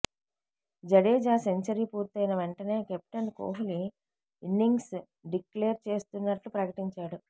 Jadeja century పూర్తయిన వెంటనే captain Kohli innings declare చేస్తున్నట్లు ప్రకటించాడు